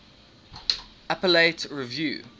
appellate review